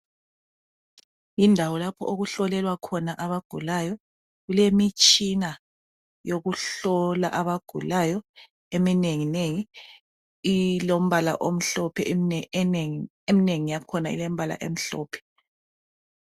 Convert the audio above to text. Indawo lapho okuhlolelwa khona abagulayo kulemitshina yokuhlola abagulayo eminenginengi, eminengi yakhona ilombala omhlophe.